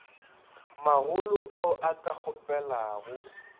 magolo ao a ka kgopelago